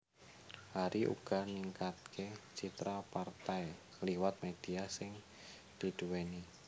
Hari uga bisa ningkatke citra partai liwat media sing didhuweni